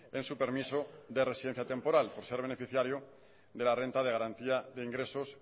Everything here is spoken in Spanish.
en su permiso de residencia temporal por ser beneficiario de la renta de garantía de ingresos